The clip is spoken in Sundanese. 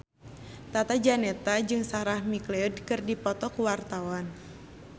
Tata Janeta jeung Sarah McLeod keur dipoto ku wartawan